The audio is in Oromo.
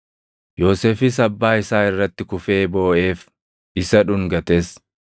Yoosefis abbaa isaa irratti kufee booʼeef; isa dhungates.